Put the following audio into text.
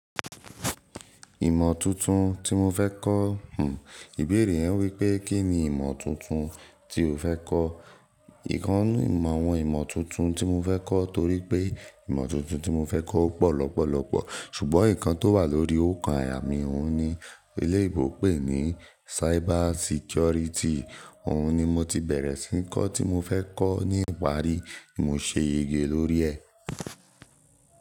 Ìmọ̀ tuntun tí mo fẹ́ kọ̀, hmm ìbéèrè yẹn wípé kín ní ìmọ̀ tuntun tí o fẹ́ kọ́? Íkan nu ìmọ̀ awon imo tuntun tí mo fẹ́ kọ́ torí pé ìmọ̀ tuntun tí mo fẹ́ kọ́ ó pọ̀ lọ́pọ̀lọ́pọ̀ ṣùgbọ́n ǹkan tó wà lórí óòkan àyà mí òun ni eleyibo pe ní cyber security. Òun ni mo ti bẹ̀rẹ̀ sí ní kọ́ tí mo fẹ́ kọ́ ni ìparí mo ṣe yege lórí ẹ.